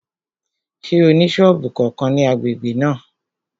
Ṣé ó ní sọ́ọ̀bù kankan ní agbègbè náà?